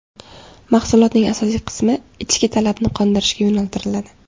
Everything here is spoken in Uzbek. Mahsulotning asosiy qismi ichki talabni qondirishga yo‘naltiriladi.